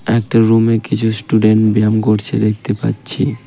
একটা রুম -এ কিছু স্টুডেন্ট ব্যাম করছে দেখতে পাচ্ছি।